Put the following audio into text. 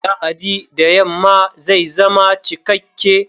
Lahadi da yamma zai zama cikakke!